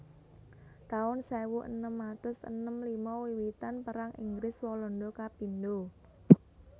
taun sewu enem atus enem lima Wiwitan Perang Inggris Walanda kapindho